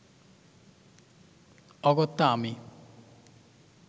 অগত্যা আমি